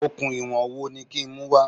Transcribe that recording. Okùn ìwọ̀n wo ni kí n mú wá?